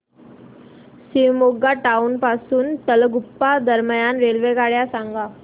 Shivamogga town पासून तलगुप्पा दरम्यान रेल्वेगाड्या सांगा